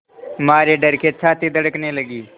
मारे डर के छाती धड़कने लगी